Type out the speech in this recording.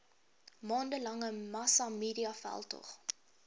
maande lange massamediaveldtog